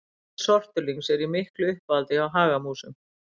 Ber sortulyngs eru í miklu uppáhaldi hjá hagamúsum.